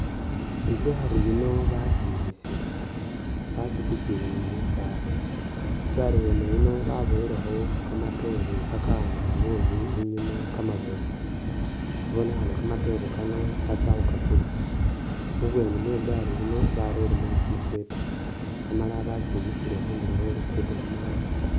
Igari yino bakimisile, bakitikiyile ni lusaala, igari wene yino ba buwelekho kamatoore ka ka'angala bulayi inyuma kamabofu ibonekhana kamatoore kano batsa khukakulisa, mubweni mwegari yino bareyemo kumusweta amala bakyimisile khundulo khwe lugudo lwa maram.